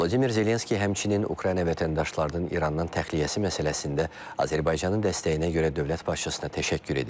Vladimir Zelenski həmçinin Ukrayna vətəndaşlarının İrandan təxliyəsi məsələsində Azərbaycanın dəstəyinə görə dövlət başçısına təşəkkür edib.